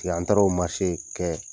in kɛ.